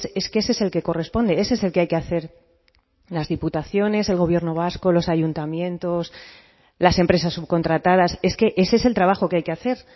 es que ese es el que corresponde ese es el que hay que hacer en las diputaciones el gobierno vasco los ayuntamientos las empresas subcontratadas es que ese es el trabajo que hay que hacer